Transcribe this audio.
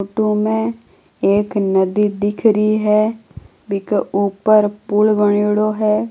फोटो मे एक नदी दिखरी हैं बी क ऊपर पुल बणियोडो है।